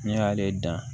Ne y'ale dan